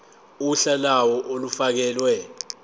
uhla lawo olufakelwe